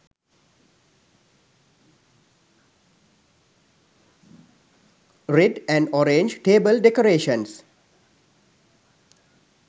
red an orange table decorations